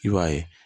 I b'a ye